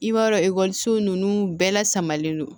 I b'a dɔn ekɔliso nunnu bɛɛ la samalen don